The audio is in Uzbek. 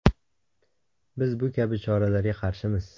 Biz bu kabi choralarga qarshimiz.